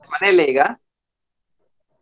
ಮನೆಯಲ್ಲೇ ಈಗಾ?